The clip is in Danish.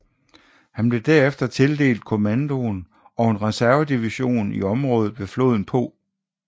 Han blev derefter tildelt kommandoen over en reservedivision i området ved floden Po